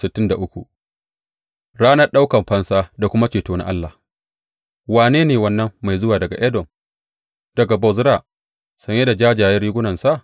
Ranar ɗaukan fansa da kuma ceto na Allah Wane ne wannan mai zuwa daga Edom, daga Bozra, saye da jajjayen rigunarsa?